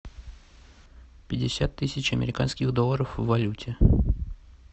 пятьдесят тысяч американских долларов в валюте